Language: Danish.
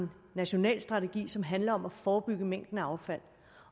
en national strategi som netop handler om at forebygge mængden af affald